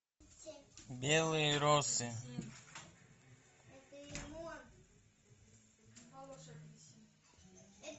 белые розы